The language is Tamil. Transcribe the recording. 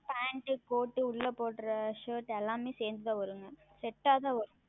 PantCourt உள்ளே உடுத்தும் Shirt எல்லாமே சேர்ந்து தான் வரும் Set ஆக தான் வரும்